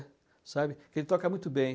sabe? Ele toca muito bem.